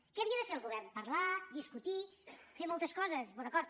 què havia de fer el govern parlar discutir fer moltes coses d’acord